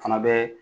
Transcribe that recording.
Fana bɛ